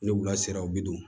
Ni wula sera u bi don